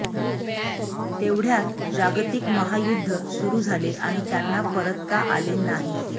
तेवढ्यात जागतिक महायुद्ध सुरू झाले आणि त्यांना परतता आले नाही